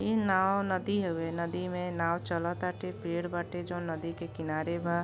ई नाव नदी हवे नदी में नाव चलताटे पेड़ बाटे जो नदी के किनारे बा।